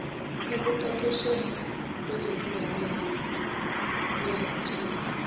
ekuqeqeshweni kwezokungamelwa kwezobuciko